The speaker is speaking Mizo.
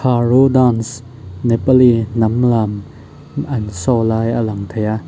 araw dance nepali hnam lam an show lai a lang thei a.